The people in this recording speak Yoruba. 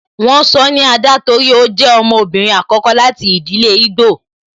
Won sọ ni Ada torí ó jẹ ọmọbìnrin àkọ́kọ́ láti ìdílé igbo